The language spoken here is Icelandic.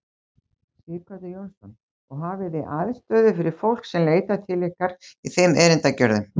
Sighvatur Jónsson: Og hafið þið aðstöðu fyrir fólk sem leitar til ykkar í þeim erindagerðum?